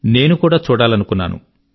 నేను కూడా చూడాలనుకున్నాను